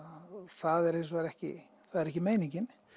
það er hins vegar ekki ekki meiningin